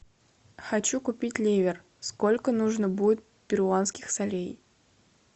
хочу купить ливр сколько нужно будет перуанских солей